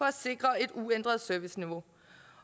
at sikre et uændret serviceniveau